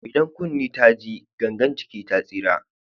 Idan kunne ta ji gangan jiki ta tsira.